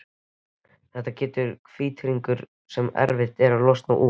Þetta getur orðið vítahringur sem erfitt er að losna úr.